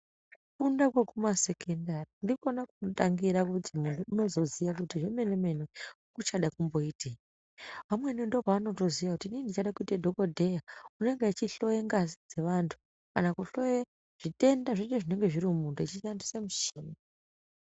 Kufunda kwekumasekendari ndikona kunotangira kuti muntu unozoziya kuti zvemene mene uchada kumboitei. Vamweni ndopavanotoziya kuti inini ndichada kuite dhokodheya unenge achihloye ngazi dzevantu kana kuhloya zvitenda zveshe zvinenge zviri mumuntu achishandise mushini.